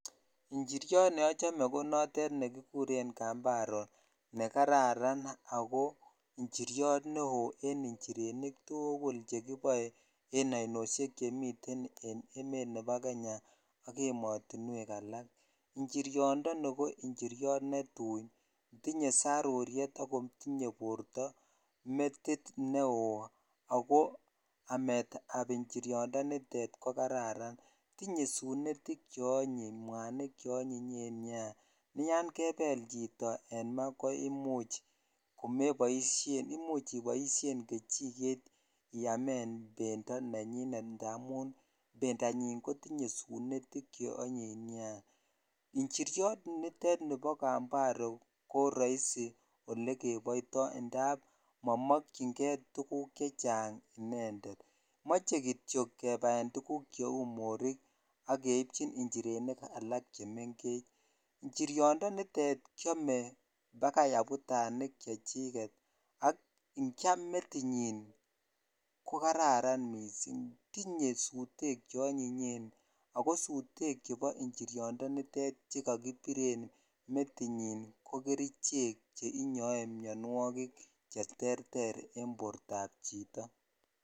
Njiriot notet neochome ko notet nekikuren kambaro nekararan ako njiriot neoo en njirenik tukul chekiboe en oinoshek chemiten en emet nebo Kenya ak emotinwek ala, njiriondoni ko njiriot netui, tinye saruriet ak kotinye borto metit neoo ak ko ametab njiriondoni ko kararan, tinye sunetik cheonyiny mwanik cheonyinyen nea, yoon kebel chito en maa ko imuch komeboishen imuch iboishen kejiket iyamen bendo nenyin ndamun bendanyin kotinye sunetik cheonyiny neaa, njiriot nitet nibo kambaro ko roisi olekeboito ndab momokyinge tukuk chechang inendet moche kitiok kebaen tukuk morik ak keibjin njirenik alak chemengech, njiriondonitet kiome bakai abutanik chechiket ak ng'iam metinyin ko kararan mising, tinye sutek che onyinyen ak ko sutek chebo njiriondo nitet chekokibir en metinyin ko kerichek chenyoe mionwokik cheterter en bortab chito.